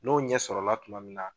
N'o ɲɛsɔrɔla tuma min na